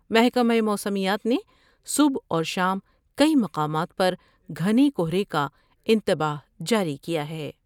محکمہ موسمیات نے صبح اور شام کئی مقامات پر گھنے کہرے کا انتباہ جاری کیا ہے ۔